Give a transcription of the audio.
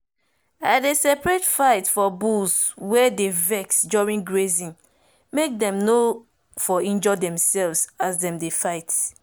i de separate fight for bulls wey dey vex during grazing make dem nor for injure demselves as dem dey fight.